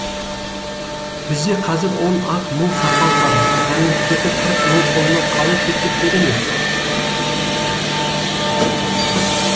бізде қазір он ақ мың сарбаз бар мәмлүктердің қырық мың қолына қалай төтеп береміз